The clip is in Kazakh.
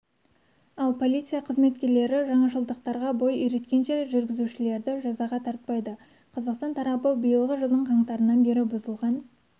ал полиция қызметкерлері жаңашылдықтарға бой үйреткенше жүргізушілерді жазаға тартпайды қазақстан тарапы биылғы жылдың қаңтарынан бері бұзылған